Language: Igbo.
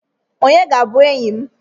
Onye ga-abụ enyị m?